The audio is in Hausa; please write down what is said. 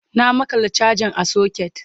na maƙala chajan a socket